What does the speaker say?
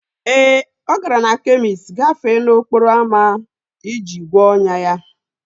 Ee, ọ gara na kemist gafee n'okporo ámá iji gwọọ ọnyá ya